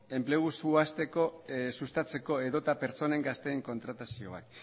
enplegua sustatzeko edota pertsona gazteen kontratazioak